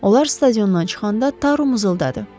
Onlar stadiondan çıxanda Taru mızıldadı.